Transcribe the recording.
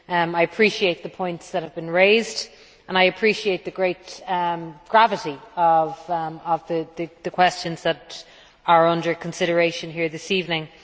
I appreciate the points that have been raised and I appreciate the great gravity of the questions that are under consideration here this evening.